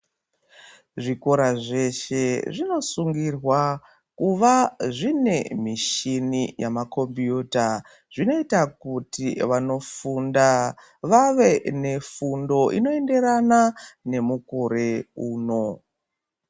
Zvikora zveshe zvinosungirwa kuva zvine michini yamakombiyuta zvinoita kuti vanofunda vave nefundo inoenderana nemukore uno.